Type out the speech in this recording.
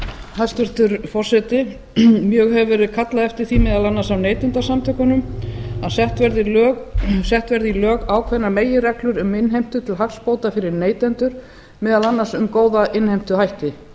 hæstvirtur forseti mjög hefur verið kallað eftir því meðal annars af neytendasamtökunum að sett verði í lög ákveðnar meginreglur um innheimtu til hagsbóta fyrir neytendur meðal annars um góða innheimtuhætti